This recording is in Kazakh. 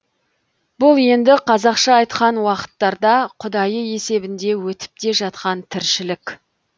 бұл енді қазақша айтқан уақыттарда құдайы есебінде өтіп те жатқан тіршілік